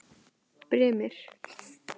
Brimir